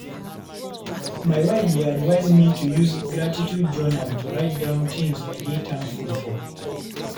My wife dey advise me to use gratitude journal to write down things I dey thankful for.